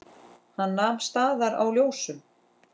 Hann nam staðar á ljósum.